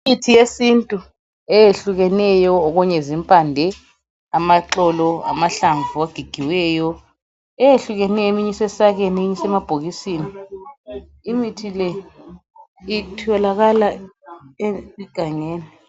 Imithi yesintu eyehlukeneyo, okunye zimpande, amaxolo, amahlamvu ogigiweyo, eyehlukeneyo eminye isemasakeni eminye isemabhokisini. Imithi le itholakala egangeni.